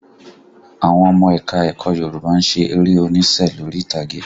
Àwọn ọmọ ẹ̀ka ẹ̀kọ́ Yorùbá ṣe eré onísẹ́ lórí ìtàgé